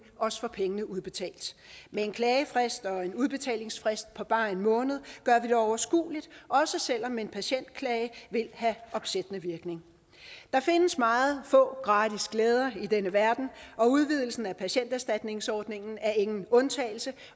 også får pengene udbetalt med en klagefrist og en udbetalingsfrist på bare en måned gør vi det overskueligt også selv om en patientklage vil have opsættende virkning der findes meget få gratis glæder i denne verden og udvidelsen af patienterstatningsordningen er ingen undtagelse